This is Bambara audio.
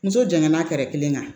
Muso janŋana kɛra kelen kan